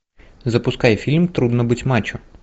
запускай фильм трудно быть мачо